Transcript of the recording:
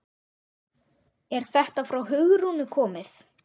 Er þetta frá Hugrúnu komið?